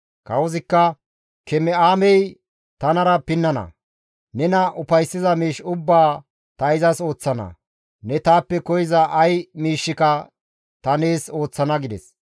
Kawozikka, «Keme7aamey tanara pinnana; nena ufayssiza miish ubbaa ta izas ooththana; ne taappe koyza ay miishshika ta nees ooththana» gides.